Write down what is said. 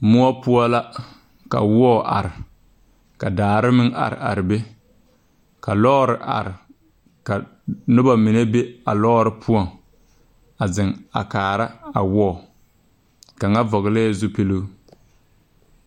Moɔ poɔ la ka wɔɔ a are ka daare meŋ are are be ka lɔɔre are ka nobɔ mine be a lɔɔre poɔŋ a zeŋ a kaara a wɔɔ kaŋa vɔglɛɛ zupiluu.